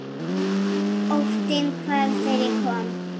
Óttinn hvarf þegar ég kom.